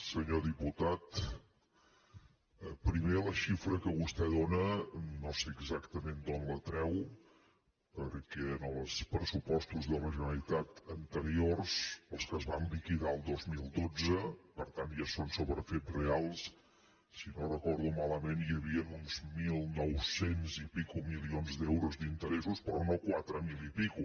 senyor diputat primer la xifra que vostè dóna no sé exactament d’on la treu perquè en els pressupostos de la generalitat anteriors els que es van liquidar el dos mil dotze per tant ja són sobre fets reals si no ho recordo malament hi havien uns mil nou cents i escaig milions d’euros d’interessos però no quatre mil i escaig